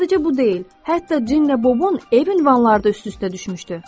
Sadəcə bu deyil, hətta Cinlə Bobun ev ünvanları da üst-üstə düşmüşdü.